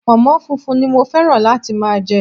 Pònmó funfun ni mo féràn láti máa je